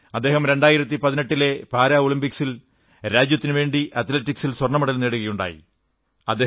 അദ്ദേഹം 2018 ലെ പാരാ ഒളിമ്പിക്സിൽ രാജ്യത്തിനുവേണ്ടി അത്ലറ്റിക്സിൽ സ്വർണ്ണമെഡൽ നേടുകയുണ്ടായി